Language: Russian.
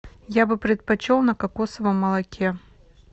я бы предпочел на кокосовом молоке